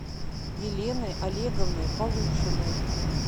еленой олеговной полушиной